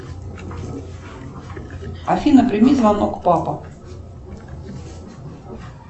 афина прими звонок папа